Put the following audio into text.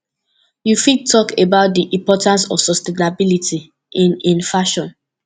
you fit talk about di importance of sustainability in in fashion